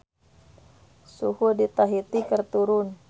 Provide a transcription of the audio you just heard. Suhu di Tahiti keur turun